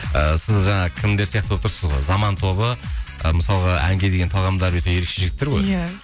і сіз жаңағы кімдер сияқты болып тұрсыз ғой заман тобы ы мысалға әнге деген талғамдары өте ерекше жігіттер ғой иә